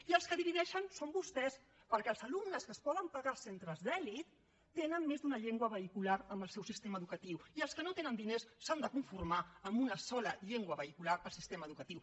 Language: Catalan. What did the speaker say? i els que divideixen són vostès perquè els alumnes que es poden pagar centres d’elit tenen més d’una llengua vehicular en el seu sistema educatiu i els que no tenen diners s’han de conformar amb una sola llengua vehicular al sistema educatiu